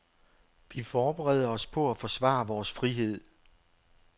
Vi forbereder os på at forsvare vores frihed.